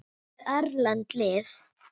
Hvað með erlend lið?